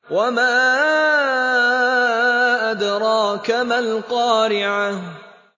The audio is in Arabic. وَمَا أَدْرَاكَ مَا الْقَارِعَةُ